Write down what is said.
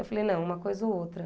Eu falei, não, uma coisa ou outra.